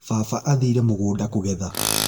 Baba athire mũgũnda kũgetha